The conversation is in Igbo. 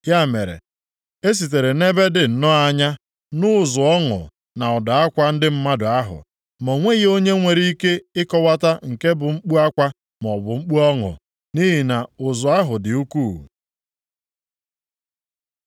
Ya mere, e sitere nʼebe dị nnọọ anya nụ ụzụ ọṅụ na ụda akwa ndị mmadụ ahụ. Ma o nweghị onye nwere ike ịkọwata nke bụ mkpu akwa maọbụ mkpu ọṅụ, nʼihi na ụzụ ahụ dị ukwuu.